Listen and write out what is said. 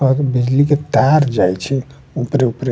और बिजली के तार जाए छै ऊपरे-ऊपरे।